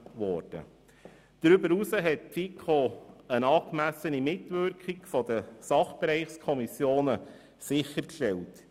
Darüber hinaus hat die FiKo eine angemessene Mitwirkung der Sachbereichskommissionen sichergestellt.